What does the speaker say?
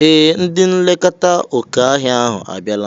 Ee! Ndị nlekọta oké ọhịa ahụ abịala.